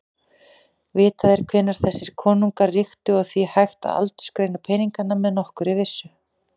Vitað er hvenær þessir konungar ríktu og því hægt að aldursgreina peningana með nokkurri vissu.